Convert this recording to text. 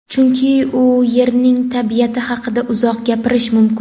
chunki u yerning tabiati haqida uzoq gapirish mumkin.